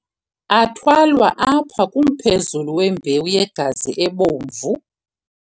Athwalwa apha kumphezulu wembewu yegazi ebomvu.